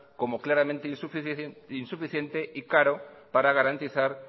como claramente insuficiente y caro para garantizar